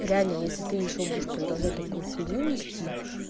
реально если ты ещё будешь продолжать такую хуйню нести